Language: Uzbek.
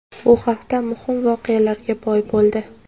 Bu hafta muhim voqealarga boy bo‘ldi.